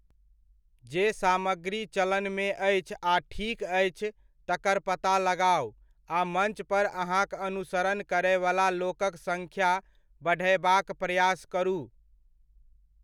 जे सामग्री चलनमे अछि आ ठीक अछि, तकर पता लगाउ आ मञ्च पर अहाँक अनुसरण करयवला लोकक सङ्ख्या बढ़यबाक प्रयास करू।